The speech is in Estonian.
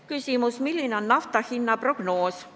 Küsimus: milline on nafta hinna prognoos?